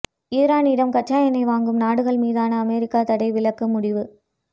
இரானிடம் கச்சா எண்ணெய் வாங்கும் நாடுகள் மீதான அமெரிக்க தடை விலக்குக்கு முடிவு